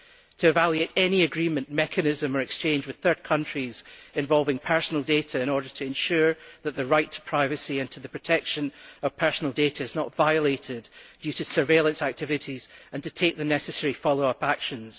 to evaluate any agreement mechanism or exchange with third countries involving personal data in order to ensure that the right to privacy and to the protection of personal data is not violated due to surveillance activities and to take the necessary follow up actions.